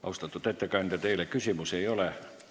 Austatud ettekandja, teile küsimusi ei ole.